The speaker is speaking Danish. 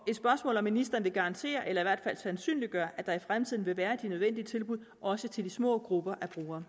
ministeren vil garantere eller i hvert fald sandsynliggøre at der i fremtiden vil være de nødvendige tilbud også til de små grupper